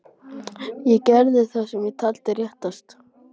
Ég gerði það sem ég taldi réttast.